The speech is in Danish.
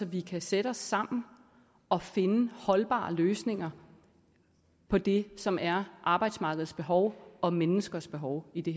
vi kan sætte os sammen og finde holdbare løsninger på det som er arbejdsmarkedets behov og menneskers behov i det